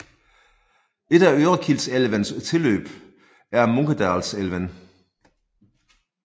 Et af Örekilsälvens tilløb er Munkedalsälven